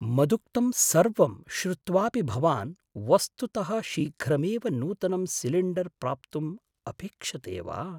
मदुक्तं सर्वं श्रुत्वापि भवान् वस्तुतः शीघ्रमेव नूतनं सिलिण्डर् प्राप्तुं अपेक्षते वा?